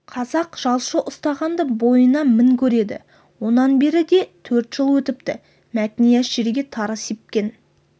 қазақ жалшы ұстағанды бойына мін көреді онан бері де төрт жыл өтіпті мәтнияз жерге тары сепкен